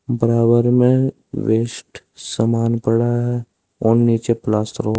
बराबर में वेस्ट समान पड़ा है और नीचे प्लास्टर लोग।